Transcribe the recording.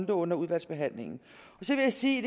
det under udvalgsbehandlingen så vil jeg sige